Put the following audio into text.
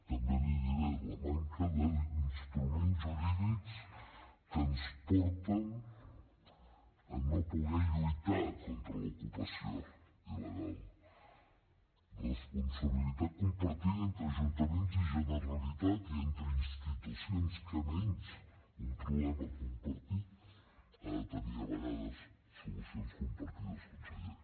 també li diré la manca d’instruments jurídics que ens porten a no poder lluitar contra l’ocupació il·legal responsabilitat compartida entre ajuntaments i generalitat i entre institucions què menys un problema compartit ha de tenir a vegades solucions compartides conseller